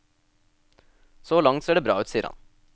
Så langt ser det bra ut, sier han.